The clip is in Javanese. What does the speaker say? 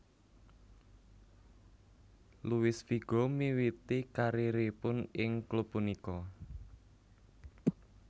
Luis Figo miwiti karieripun ing klub punika